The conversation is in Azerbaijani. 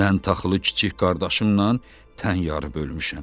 Mən taxılı kiçik qardaşımla tən yarı bölmüşəm.